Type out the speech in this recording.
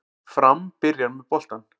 Fram byrjar með boltann